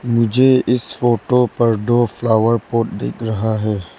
मुझे इस फोटो पर दो फ्लावर पॉट दिख रहा है।